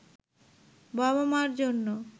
বাবা-মার জন্য